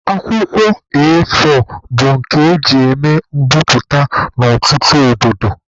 Akwụkwọ A4 bụ nke eji eme mbiputa na ọtụtụ obodo.